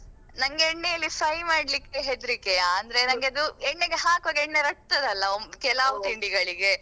ನಂಗೆ ಎಣ್ಣೆಯಲ್ಲಿ fry ಮಾಡ್ಲಿಕ್ಕೆ ಹೆದ್ರಿಕೆಯಾ ಅಂದ್ರೆ ನಂಗೆ ಅದು ಎಣ್ಣೆಗೆ ಹಾಕುವಾಗ ಎಣ್ಣೆ ರಟ್ಟುತದಲ್ಲಾ ಕೆಲಾವ್ ತಿಂಡಿಗಳಿಗೆ